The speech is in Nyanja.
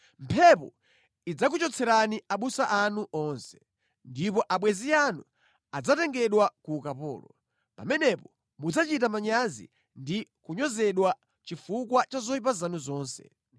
Mphepo idzakuchotserani abusa anu onse, ndipo abwenzi anu adzatengedwa ku ukapolo. Pamenepo mudzachita manyazi ndi kunyozedwa chifukwa cha zoyipa zanu zonse.